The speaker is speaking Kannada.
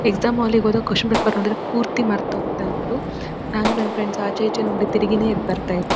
ಎಕ್ಸಾಮ್ ಹಾಲ್ಲ್ಗೆ ಹೋದಾಗ ಕ್ಯೂಸ್ಷನ್ ಪೇಪರ್ ನೋಡಿದ್ರೆ ಪೂರ್ತಿ ಮರತ ಹೋಗತ್ತಾ ಇತ್ತು ನಾನು ನನ್ನ ಫ್ರೆಂಡ್ಸ್ ಆಚೆ ಇಚೆ ನೋಡಿ ತಿರಗಿನೀ ಎದ್ ಬರೆತ್ತ--